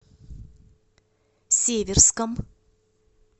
северском